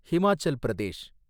Himachal Pradesh